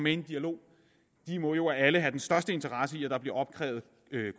i en dialog de må jo alle have den største interesse i at der bliver opkrævet